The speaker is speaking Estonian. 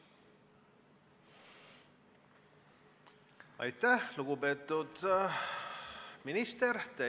Aitäh, lugupeetud minister!